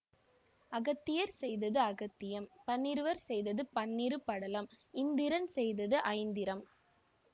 அகத்தியர் செய்தது அகத்தியம் பன்னிருவர் செய்தது பன்னிரு படலம் இந்திரன் செய்தது ஐந்திரம்